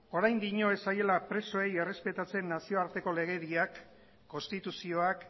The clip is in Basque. orain dio ez zaiola presoei errespetatzen nazioarteko legediak konstituzioak